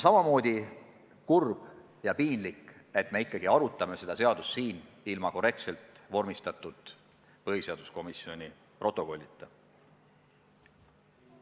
Samamoodi on kurb ja piinlik, et me ikkagi arutame seda seadust ilma korrektselt vormistatud põhiseaduskomisjoni protokollita.